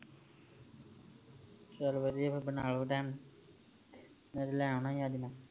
ਚਲੋ ਵਧੀਆ ਫਿਰ ਬਣਾਲੋ ਨਹੀ ਤੇ ਲੈ ਆਉਣਾ ਹੀ ਅੱਜ ਮੈਂ